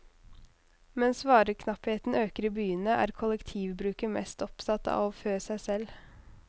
Mens vareknappheten øker i byene, er kollektivbruket mest opptatt av å fø seg selv.